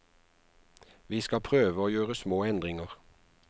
Vi skal prøve å gjøre små endringer.